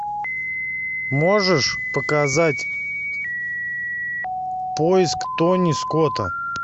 можешь показать поиск тони скотта